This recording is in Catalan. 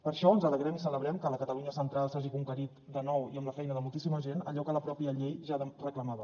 per això ens alegrem i celebrem que a la catalunya central s’hagi conquerit de nou i amb la feina de moltíssima gent allò que la mateixa llei ja reclamava